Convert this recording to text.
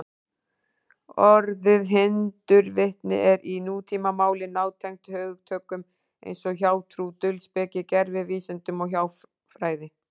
Orðið hindurvitni er í nútímamáli nátengt hugtökum eins og hjátrú, dulspeki, gervivísindum og hjáfræði.